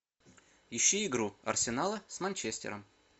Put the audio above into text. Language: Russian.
ищи игру арсенала с манчестером